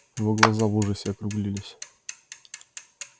его глаза в ужасе округлились